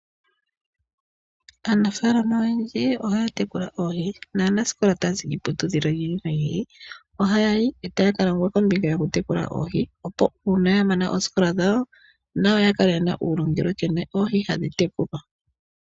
Aanafalama oyendji ohaatekula oohi naasikola oyendji taazi kiiputudhilo yiili no yiili ohayayi koofalama dhokutekula oohi, etaa kadhewulwa nkene oohi hadhi tekulwa opo ngele yamana oositola dhawo nayo yakale yena uunongo nuulongelwe nkene oohi hadhi tekulwa.